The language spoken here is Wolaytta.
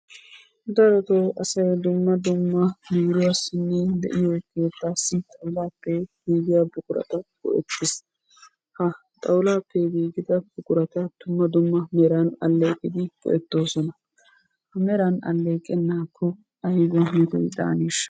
Darotoo asay dumma dumma biiruwassinne de'iyo keettassi xawulappe giigiya buqurata go"ettees. Ha xawulappe giigida buqurata dumma dumma meran alleeqidi go''ettoosona. Meran alleqenakko aybba metoy daaneshsha?